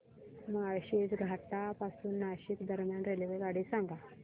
माळशेज घाटा पासून नाशिक दरम्यान रेल्वेगाडी सांगा